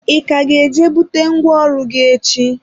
ị ka ga-eje bute nkwago ọrụ gị echi?